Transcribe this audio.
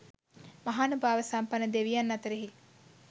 මහානුභාව සම්පන්න දෙවියන් අතරෙහි